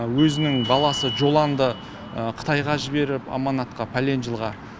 өзінің баласы жолаңды қытайға жіберіп аманатқа пәлең жылға